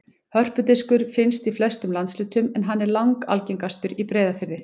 Hörpudiskur finnst í flestum landshlutum en hann er langalgengastur í Breiðafirði.